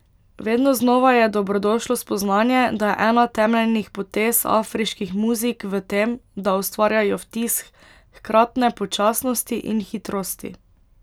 Vedno znova je dobrodošlo spoznanje, da je ena temeljnih potez afriških muzik v tem, da ustvarjajo vtis hkratne počasnosti in hitrosti.